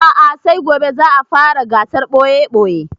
A'a sai gobe za a fara gasar ɓoye-ɓoye